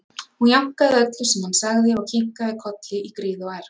Hún jánkaði öllu sem hann sagði og kinkaði kolli í gríð og erg.